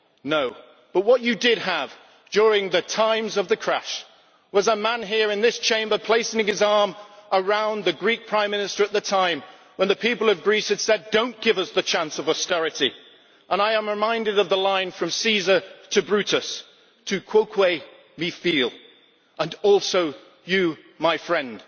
No. But what you did have during the times of the crash was a man here in this Chamber placing his arm around the Greek Prime Minister at the time, when the people of Greece had said do not give us the chance of austerity, and I am reminded of the line from Caesar to Brutus Tu quoque, mi fili' And also you, my friend'.